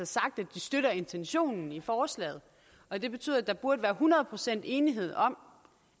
sagt at de støtter intentionen i forslaget og det betyder at der burde være hundrede procent enighed om